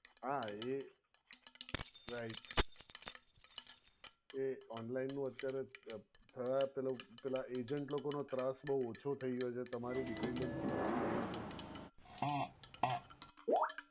હા એ right એ online નું અત્યારે થયા પેહલું પેહલા agent લોકો નો ત્રાસ બોવ ઓછો થઈ ગયો છે તમારી dependency જતી રહી છે.